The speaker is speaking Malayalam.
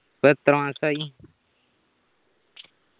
ഇപ്പോ എത്ര മാസായി